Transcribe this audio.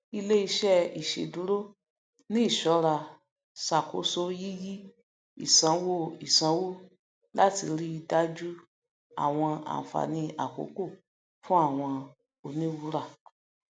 iléiṣẹ iṣeduro ní ìṣọra ṣàkóso yíyí ìsanwóìsanwó láti ríi dájú àwọn àǹfààní àkókò fún àwọn oníwùúrà